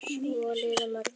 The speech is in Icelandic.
Svo liðu mörg ár.